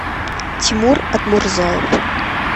тимур атмурзаев